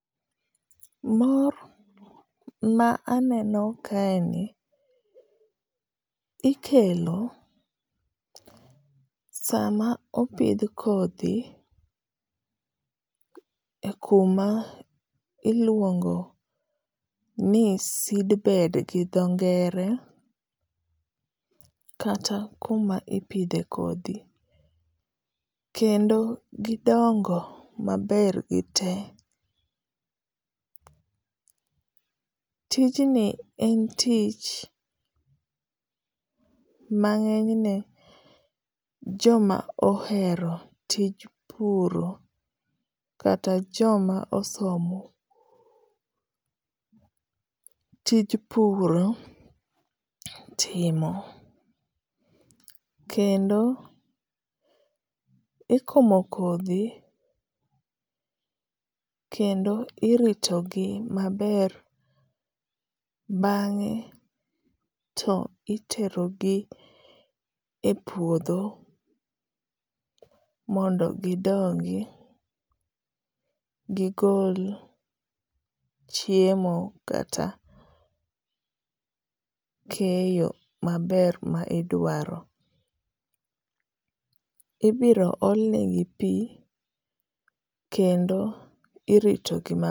Mor ma aneno kae ni, ikelo sama opidh kodhi e kuma iluongo ni seedbed gi dho ngere, kata kuma ipidhe kodhi. Kendo gidongo maber gi te. Tijni en tich ma ngényne joma ohero tij puro kata joma osomo tij puro timo. Kendo ikomo kodhi, kendo irito gi maber. Bangé to itero gi e puodho mondo gidongi gigol chiemo kata keyo maber ma idwaro. Ibiro ol ne gi pi, kendo iritogi